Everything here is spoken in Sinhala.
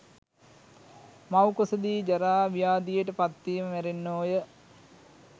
මවුකුස දී ජරා, ව්‍යාධියට පත්වී මැරෙන්නෝය.